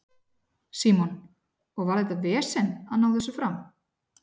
Símon: Og var þetta vesen að ná þessu fram?